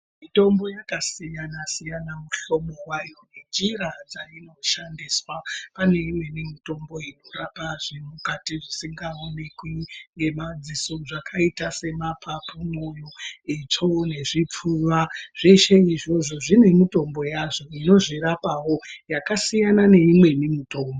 Mitombo yakasiyana siyana mihlobo yayo nenjira dzainoshansiswa, pane imweni mitombo inorapa zvemukati zvisingaonekwi ngemadziso zvakaita semapapu, moyo, itsvo nezvipfuva zveshe izvozvo zvine mutombo yazvo inozvirapawo yakasiyana neimweni mitombo.